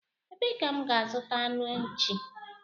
Ebee ka m ga azuta anụ nchi?